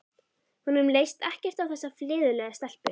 Honum leist ekkert á þessa fleðulegu stelpu.